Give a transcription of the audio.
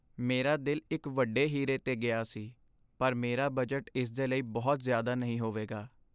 ਮੇਰਾ ਦਿਲ ਇੱਕ ਵੱਡੇ ਹੀਰੇ 'ਤੇ ਗਿਆ ਸੀ, ਪਰ ਮੇਰਾ ਬਜਟ ਇਸ ਦੇ ਲਈ ਬਹੁਤ ਜ਼ਿਆਦਾ ਨਹੀਂ ਹੋਵੇਗਾ।